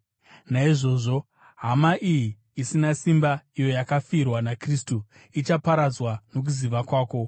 Naizvozvo, hama iyi isina simba, iyo yakafirwa naKristu ichaparadzwa nokuziva kwako.